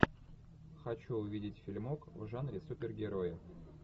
хочу увидеть фильмок в жанре супергерои